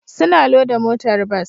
Suna loda motar bas